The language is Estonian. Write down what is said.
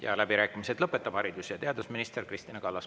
Ja läbirääkimised lõpetab haridus- ja teadusminister Kristina Kallas.